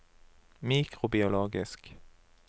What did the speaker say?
mikrobiologisk